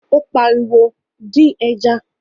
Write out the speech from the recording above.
Óní pa ariwo: dín ẹja